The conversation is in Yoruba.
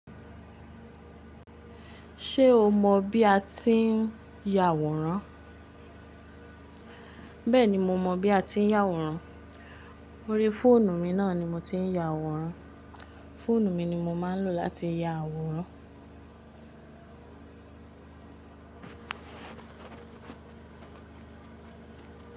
Ṣé o mọ bí a ti ń ya àwòrán? Bẹ́ẹ̀ni mo mọ bí a ti ń ya àwòrán. Orí fóònù mi náà ni mo ti ń ya àwòrán. Fóònù mi ni mo máa ń lò láti ya àwòrán.